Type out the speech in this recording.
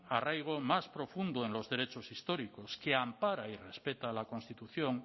arraigo más profundo en los derechos históricos que ampara y respeta la constitución